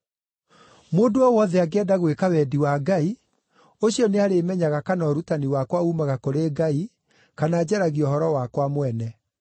Mũndũ o wothe angĩenda gwĩka wendi wa Ngai, ũcio nĩarĩĩmenyaga kana ũrutani wakwa uumaga kũrĩ Ngai, kana njaragia ũhoro wakwa mwene.